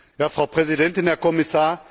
Frau Präsidentin, Herr Kommissar!